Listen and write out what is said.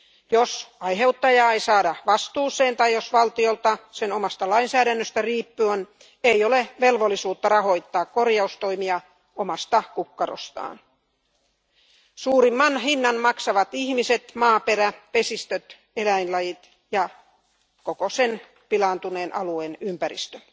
Jos aiheuttajaa ei saada vastuuseen tai jos valtiolla sen omasta lainsäädännöstä riippuen ei ole velvollisuutta rahoittaa korjaustoimia omasta kukkarostaan, suurimman hinnan maksavat ihmiset, maaperä, vesistöt, eläinlajit ja koko pilaantuneen alueen ympäristö.